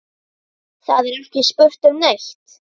Það er ekki spurt um neitt.